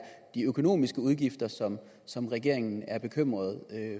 de økonomiske udgifter som som regeringen er bekymret